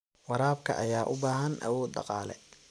Waraabka ayaa u baahan awood dhaqaale.